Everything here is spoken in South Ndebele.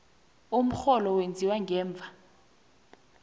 umrholo wenziwa ngemva